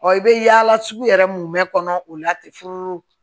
i bɛ yaala sugu yɛrɛ mun bɛ kɔnɔ o la ten furu